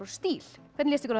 stíl hvernig líst ykkur á